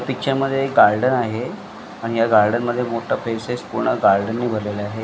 Picture मध्ये एक garden आहे आणि या गार्डनमध्ये मोठ प्लेसेस पूर्ण गार्डनने भरलेल आहे.